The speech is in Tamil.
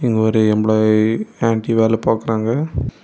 இங்க ஒரு எம்பிளாய் ஆன்டி வேல பாக்குறாங்க.